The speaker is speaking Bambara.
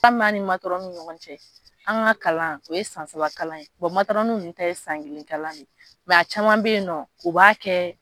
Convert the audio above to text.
min bɛ an ni matɔrɔni ni ɲɔgɔn cɛ an ka kalan o ye san saba kalan ye matɔrɔni ninnu t'a ye san kelen kalan ye mɛ a caman bɛ yen nɔ u b'a kɛ